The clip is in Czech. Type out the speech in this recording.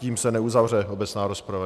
Tím se neuzavře obecná rozprava.